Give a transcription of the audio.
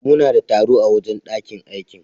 Muna da taro a wajen ɗakin aikin.